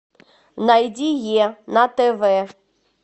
найди е на тв